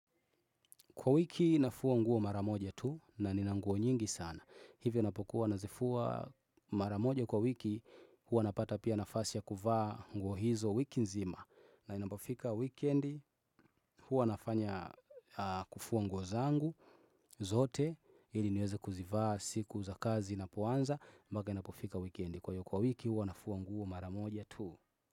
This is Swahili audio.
Kwa wiki nafua nguo mara moja tu na nina nguo nyingi sana. Hivyo napokuwa nazifua mara moja kwa wiki huwa napata pia nafasi ya kuvaa nguo hizo wiki nzima. Na inapofika wikendi huwa nafanya kufua nguo zangu zote ili niweze kuzivaa siku za kazi inapoanza mpaka inapofika weikendi kwa hiyo kwa wiki huwa nafua nguo mara moja tu.